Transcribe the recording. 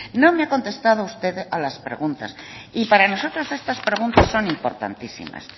no me ha contestado usted a las preguntas y para nosotros estas preguntas son importantísimas